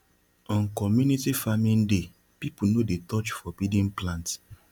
on community farming day people no dey touch forbidden plants